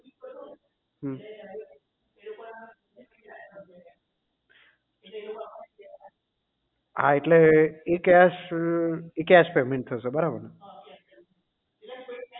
હમ હા એટલે એ cash એ cash payment થશે બરાબર ને